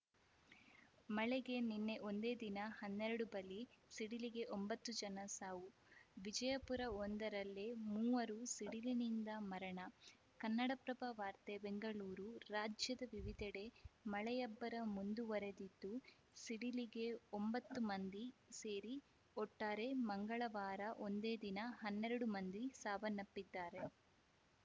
ಮಳೆಗೆ ನಿನ್ನೆ ಒಂದೇ ದಿನ ಹನ್ನೆರಡು ಬಲಿ ಸಿಡಿಲಿಗೆ ಒಂಬತ್ತು ಜನ ಸಾವು ವಿಜಯಪುರವೊಂದರಲ್ಲೇ ಮೂವರು ಸಿಡಿಲಿನಿಂದ ಮರಣ ಕನ್ನಡಪ್ರಭ ವಾರ್ತೆ ಬೆಂಗಳೂರು ರಾಜ್ಯದ ವಿವಿಧೆಡೆ ಮಳೆಯಬ್ಬರ ಮುಂದುವರೆದಿದ್ದು ಸಿಡಿಲಿಗೆ ಒಂಬತ್ತು ಮಂದಿ ಸೇರಿ ಒಟ್ಟಾರೆ ಮಂಗಳವಾರ ಒಂದೇ ದಿನ ಹನ್ನೆರಡು ಮಂದಿ ಸಾವನ್ನಪ್ಪಿದ್ದಾರೆ